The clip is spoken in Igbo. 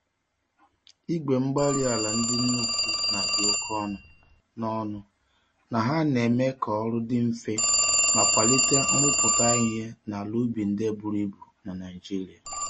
Igwe-mgbárí-ala ndị nnukwu nadi oké ọnụ, na ọnụ, na ha neme k'ọrụ dị mfe ma kwalite nrụpụta ìhè n'ala ubi ndị buru ibu na Nigeria